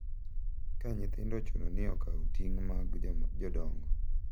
Ka nyithindo ochuno ni okaw ting’ mag jodongo,